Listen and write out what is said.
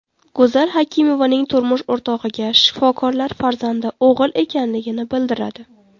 Go‘zal Hakimovaning turmush o‘rtog‘iga shifokorlar farzandi o‘g‘il ekanligini bildiradi.